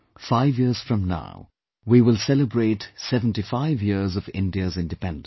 Five years from now, we will celebrate 75 years of India's Independence